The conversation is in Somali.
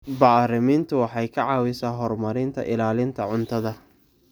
Bacriminta waxay ka caawisaa horumarinta ilaalinta cuntada.